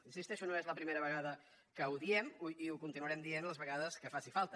hi insisteixo no és la primera vegada que ho diem i ho continuarem dient les vegades que faci falta